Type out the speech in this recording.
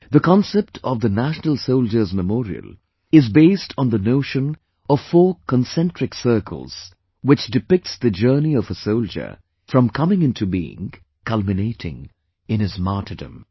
The concept of the National Soldiers' Memorial is based on the notion of four concentric circles, which depicts the journey of a soldier from coming into being, culminating in his martyrdom